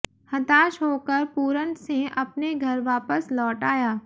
हताश होकर पूरन सिंह अपने घर वापस लौट आया